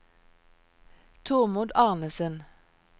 Tormod Arnesen